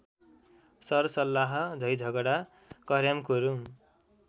सरसल्लाह झैझगडा कर्‍यामकुरुम